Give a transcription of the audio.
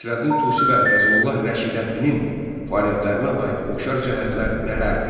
Nəsrəddin Tusi və Fəzullah Rəşidəddinin fəaliyyətlərinə aid oxşar cəhətlər nələrdir?